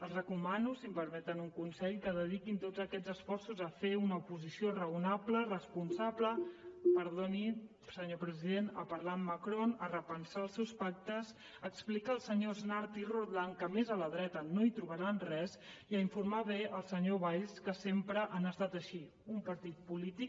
els recomano si em permeten un consell que dediquin tots aquests esforços a fer una oposició raonable responsable perdoni senyor president a parlar amb macron a repensar els seus pactes a explicar als senyors nart i roldán que més a la dreta no hi trobaran res i a informar bé el senyor valls que sempre han estat així un partit polític